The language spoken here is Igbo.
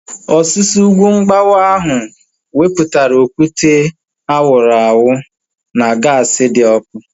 Ọsusu ugwu mgbawa ahu wepụtara okwute a wụrụ awụ na gaasi dị ọkụ